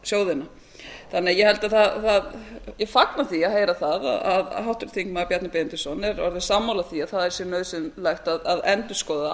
sjóðina ég fagna því að heyra það að háttvirtur þingmaður bjarni benediktsson er orðinn sammála því að það sé nauðsynlegt að endurskoða